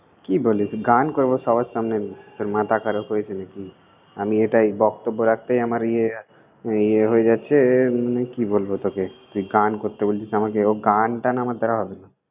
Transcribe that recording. কি বলিস! গান করব সবার সামনে, তোর মাথা খারাপ হয়েছে নাকি! আমি এটাই বক্তব্য রাখতে আমার ইয়ে ইয়ে হয়ে যাচ্ছে, মানে কি বলব তোকে। তুই গান করতে বলছিস আমাকে, ও গানটান আমার দ্বারা হবে না।